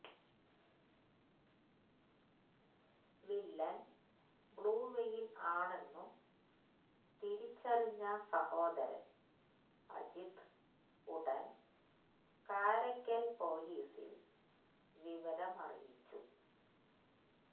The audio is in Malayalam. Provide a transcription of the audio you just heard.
വില്ലൻ ബ്ലൂവെയ്ൽ ആണെന്നു തിരിച്ചറിഞ്ഞ സഹോദരൻ അജിത് ഉടൻ കാരയ്ക്കൽ പൊലീസിൽ വിവരമറിയിച്ചു